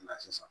Na sisan